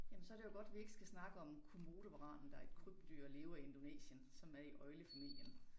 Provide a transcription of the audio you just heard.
Jamen så det jo godt vi ikke skal snakke om komodovaranen der et krybdyr og lever i Indonesien som er i øglefamilien